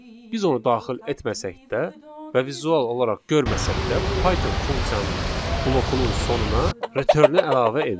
Biz onu daxil etməsək də və vizual olaraq görməsək də, Python funksiyanın blokunun sonuna return-ü əlavə edir.